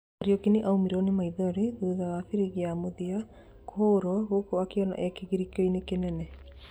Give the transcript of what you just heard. Kariuki nĩaumirwo nĩ maithori thutha wa biringi ya mũthia kũhuhwo gũkũ akĩonwo e kĩgirĩkoinĩ kĩnene.